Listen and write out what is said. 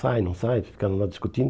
Sai, não sai, ficaram lá discutindo.